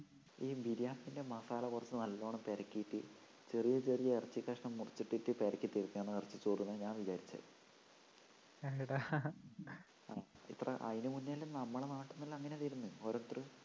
ഈ ബിരിയാണീന്റെ മസാല കൊറച്ചു നല്ലോണം പെരട്ടീട്ട് ചെറിയ ചെറിയ ഇറച്ചി കഷണം മുറിച്ചിട്ടിട്ടു പെരക്കീറ്റെടുക്കണതാ ഇറച്ചി ചോറ്ന്നാ ഞാൻ വിചാരിച്ചേ അല്ലടാ അതിനു മുന്നേ എല്ലാം നമ്മടെ നാട്ടീന്നെല്ലാം അങ്ങനെ വരുന്നത് ഓരോരുത്തര്